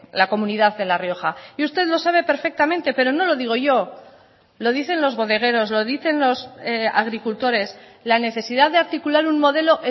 es la comunidad de la y usted lo sabe perfectamente pero no lo digo yo lo dicen los bodegueros lo dicen los agricultores la necesidad de articular un modelo